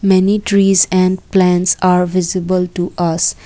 many trees and plants are visible to us.